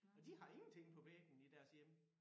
Og de har ingenting på væggen i deres hjem